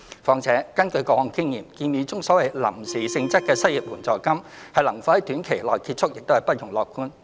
況且，根據過往經驗，建議中所謂"臨時"性質的失業援助金，能否於短時間內結束亦是不容樂觀。